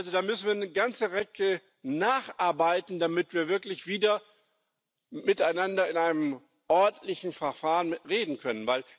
Also, da müssen wir eine ganze Ecke nacharbeiten, damit wir wirklich wieder miteinander in einem ordentlichen Verfahren reden können.